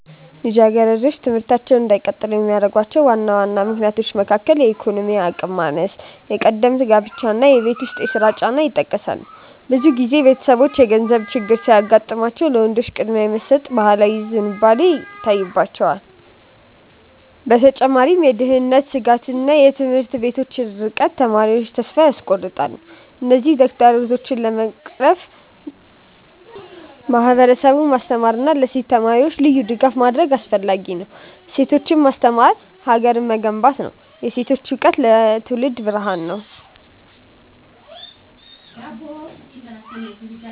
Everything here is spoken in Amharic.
ልጃገረዶች ትምህርታቸውን እንዳይቀጥሉ ከሚያደርጉ ዋና ዋና ምክንያቶች መካከል የኢኮኖሚ አቅም ማነስ፣ ቀደምት ጋብቻ እና የቤት ውስጥ ስራ ጫና ይጠቀሳሉ። ብዙ ጊዜ ቤተሰቦች የገንዘብ ችግር ሲያጋጥማቸው ለወንዶች ቅድሚያ የመስጠት ባህላዊ ዝንባሌ ይታይባቸዋል። በተጨማሪም የደህንነት ስጋትና የትምህርት ቤቶች ርቀት ተማሪዎቹን ተስፋ ያስቆርጣል። እነዚህን ተግዳሮቶች ለመቅረፍ ማህበረሰቡን ማስተማርና ለሴት ተማሪዎች ልዩ ድጋፍ ማድረግ አስፈላጊ ነው። ሴቶችን ማስተማር ሀገርን መገንባት ነው። የሴቶች እውቀት ለትውልድ ብርሃን ነው።